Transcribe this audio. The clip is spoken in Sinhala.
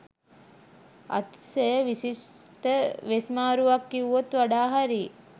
අතිශය විශිෂ්ට වෙස් මාරුවක් කිව්වොත් වඩා හරි